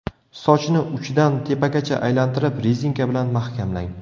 Sochni uchidan tepagacha aylantirib, rezinka bilan mahkamlang.